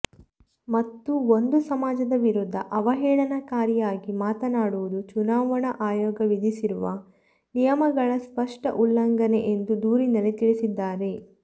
ಮತ್ತು ಒಂದು ಸಮಾಜದ ವಿರುದ್ಧ ಅವಹೇಳನಕಾರಿಯಾಗಿ ಮಾತನಾಡುವುದು ಚುನಾವಣಾ ಆಯೋಗ ವಿಧಿಸಿರುವ ನಿಯಮಗಳ ಸ್ಪಷ್ಟ ಉಲ್ಲಂಘನೆ ಎಂದು ದೂರಿನಲ್ಲಿ ತಿಳಿಸಿದ್ದಾರೆ